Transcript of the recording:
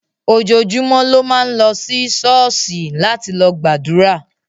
Ojojúmó ló ma n lo sí Ṣọọṣí láti lo gbàdúrà